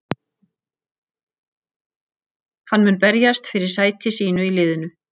Hann mun berjast fyrir sæti sínu í liðinu.